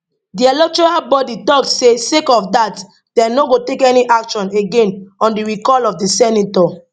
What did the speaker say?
di electoral body tok say sake of dat dem no go take any action again on di recall of di senator